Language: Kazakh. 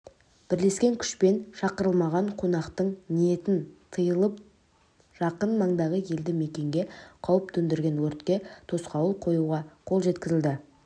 бірлескен күшпен шақырылмаған қонақтың ниетін тиылып жақын маңдағы елді-мекенге қауіп төндірген өртке тосқауыл қоюға қол жеткізілді